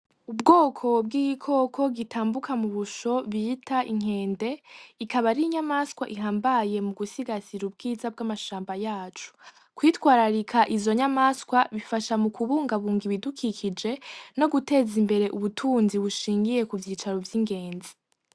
Ubwoko bw'igikoko gitambuka mu ubusho bita inkende, ikaba ari inyamaswa ihambaye mugusigasira ubwiza bw'amashamba yaco, kwitwararika izo nyamaswa bifasha mu kubungabunga ibudukikije no guteza imbere ubutunzi bushingiye ku vyicaro vy'ingenzi.